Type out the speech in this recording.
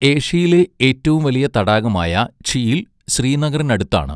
ഏഷ്യയിലെ ഏറ്റവും വലിയ തടാകമായ ഝീൽ ശ്രീനഗറിനടുത്താണ്.